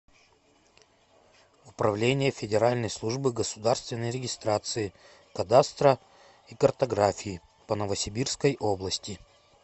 управление федеральной службы государственной регистрации кадастра и картографии по новосибирской области